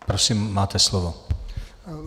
Prosím, máte slovo.